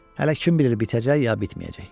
Hələ kim bilir bitəcək ya bitməyəcək.